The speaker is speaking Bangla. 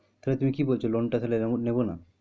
তাহলে তুমি কি বলছো loan টা তা হলে নেবো না?